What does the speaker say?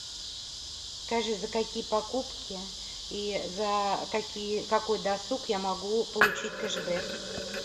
скажи за какие покупки и за какие какой досуг я могу получить кэшбэк